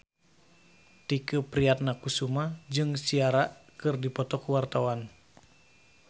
Tike Priatnakusuma jeung Ciara keur dipoto ku wartawan